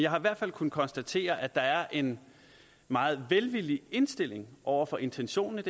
har i hvert fald kunnet konstatere at der er en meget velvillig indstilling over for intentionen